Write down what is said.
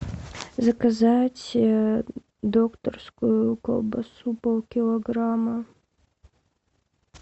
заказать докторскую колбасу пол килограмма